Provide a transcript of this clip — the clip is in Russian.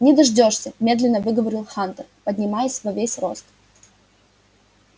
не дождёшься медленно выговорил хантер поднимаясь во весь рост